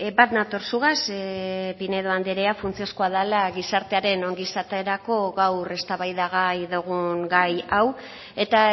bat nator zugaz pinedo andrea funtsezkoa dela gizartearen ongizaterako gaur eztabaidagai dugun gai hau eta